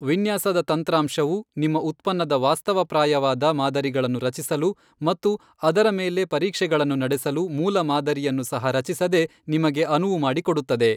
ವಿನ್ಯಾಸದ ತಂತ್ರಾಂಶವು ನಿಮ್ಮ ಉತ್ಪನ್ನದ ವಾಸ್ತವಪ್ರಾಯವಾದ ಮಾದರಿಗಳನ್ನು ರಚಿಸಲು ಮತ್ತು ಅದರ ಮೇಲೆ ಪರೀಕ್ಷೆಗಳನ್ನು ನಡೆಸಲು, ಮೂಲಮಾದರಿಯನ್ನು ಸಹ ರಚಿಸದೆ ನಿಮಗೆ ಅನುವು ಮಾಡಿಕೊಡುತ್ತದೆ.